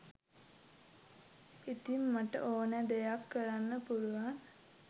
ඉතින් මට ඕනෑ දෙයක් කරන්න පුළුවන්